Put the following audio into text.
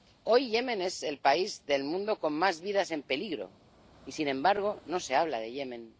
Hoy Yemen es el país del mundo con más vidas en peligro y, sin embargo, no se habla de Yemen.